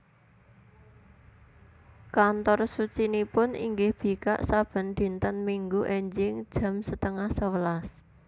Kantor sucinipun inggih bikak saben dinten Minggu enjing jam setengah sewelas